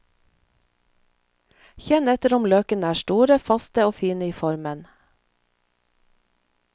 Kjenn etter om løkene er store, faste og fine i formen.